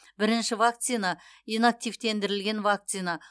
бірінші вакцина инактивтендірілген вакцина